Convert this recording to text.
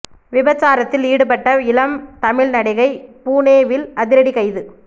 விபச்சாரத்தில் ஈடுபட்ட இளம் தமிழ் நடிகை புனே வில் அதிரடி கைது